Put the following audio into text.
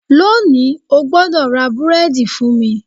Lónìí, o gbọ́dọ̀ ra búrẹ́dì fún mi